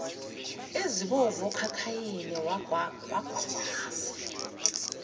ezibovu okhakhayini wagwajaza